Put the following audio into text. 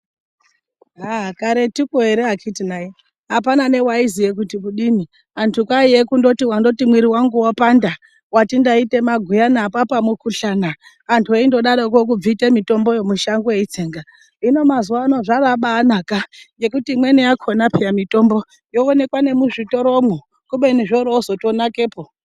Aah karetuko ere akiti nai apana newaiziye kuti kudini antu kwaiye kundoti wandoti mwiri wangu wapanda wati ndati ndaite maguyana apa mukhuhlana, antu eindodaroko kubvite mitomboyo mushango eitsenga ,hino mazuwa anaya zvabaanaka ngekuti imweni yakona yo mitombo yoonekwa nemuzvitoro mwo kubeni zvoorozoto nakepo.